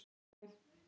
Pálmi